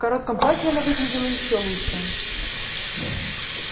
в коротком платье она выглядела ещё лучше